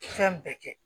Fɛn bɛɛ kɛ